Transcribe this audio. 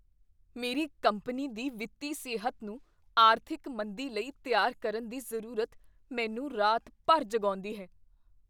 ਮੇਰੀ ਕੰਪਨੀ ਦੀ ਵਿੱਤੀ ਸਿਹਤ ਨੂੰ ਆਰਥਿਕ ਮੰਦੀ ਲਈ ਤਿਆਰ ਕਰਨ ਦੀ ਜ਼ਰੂਰਤ ਮੈਨੂੰ ਰਾਤ ਭਰ ਜਗਾਉਂਦੀ ਹੈ।